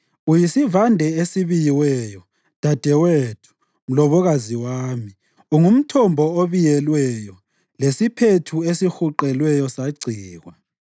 Uyisivande esibiyelweyo, dadewethu, mlobokazi wami; ungumthombo obiyelweyo, lesiphethu esihuqelweyo sagcikwa.